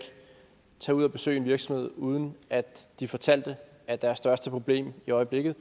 tage ud at besøge en virksomhed uden at de fortalte at deres største problem i øjeblikket